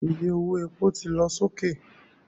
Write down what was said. Iye owó epo ti lọ sókè